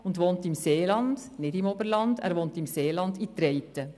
Er wohnt im Seeland, nicht im Oberland, in Treiten.